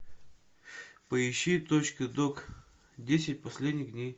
поищи точка док десять последних дней